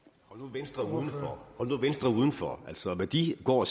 venstre udenfor altså hvad de går